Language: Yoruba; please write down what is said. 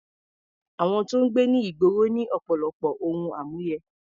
Àwọn tó ń gbé ní ìgboro ní ọ̀pọ̀lọpọ̀ ohun àmúyẹ.